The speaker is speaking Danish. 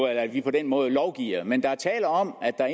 at vi på den måde lovgiver men der er tale om at der